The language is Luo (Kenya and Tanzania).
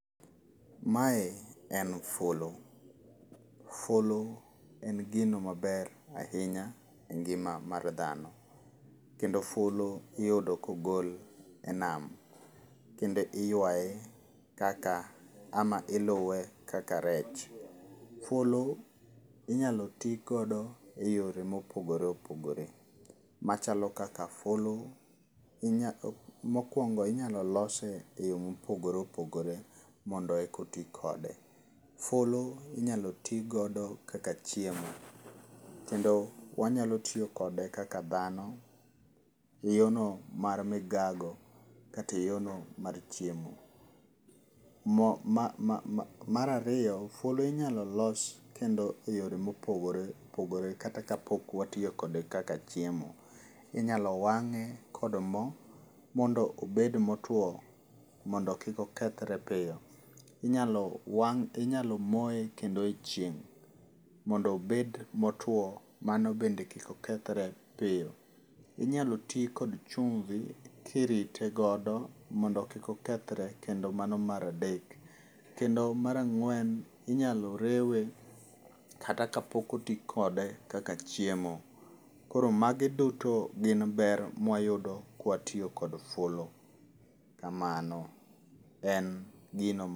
Mae en fulu. Fulu en gino maber ahinya e ngíma mar dhano. Kendo fulu iyudo kogol e nam. Kendo iywaye kaka ama iluwe kaka rech. Fulu inyalo tii godo e yore mopogore opogore, machalo kaka fulu mokwongo inyalo lose e yo mopogore opogore mondo eka oti kode. Fulu inyalo tii godo kaka chiemo, kendo wanyalo tiyo kode kaka dhano, yo no mar migago, kata yo no mar chiemo. Mar ariyo, fulu inyalo los kendo e yore mopogore opogore, kata ka pok watiyo kode kaka chiemo. Inyalo wangé kod moo, mondo obed motwoo, mondo kik okethre piyo. Inyalo wang', inyalo moye kendo e chieng', mondo obed motwoo, mano bende kik okethre piyo. Inyalo tii kod chumvi, kirite godo mondo kik okethre, kendo mano mar adek. Kendo mar ang'wen, inyalo rewe kata ka pok oti kode kaka chiemo. Koro magi duto gin ber ma wayudo ka watiyo kod fulu. Kamano. En gino ma